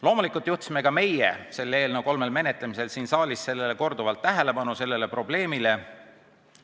Loomulikult juhtisime ka meie selle eelnõu kolmel menetlemisel siin saalis korduvalt tähelepanu sellele probleemile.